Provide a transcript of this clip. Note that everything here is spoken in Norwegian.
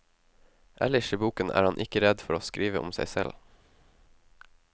Ellers i boken er han ikke redd for å skrive om seg selv.